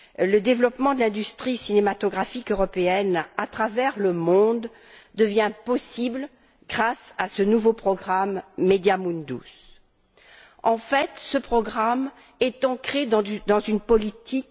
Le développement de l'industrie cinématographique européenne à travers le monde devient possible grâce à ce nouveau programme MEDIA Mundus. En fait, ce programme est ancré dans une politique.